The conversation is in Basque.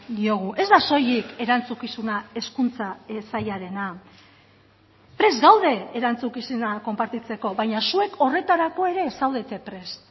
diogu ez da soilik erantzukizuna hezkuntza sailarena prest gaude erantzukizuna konpartitzeko baina zuek horretarako ere ez zaudete prest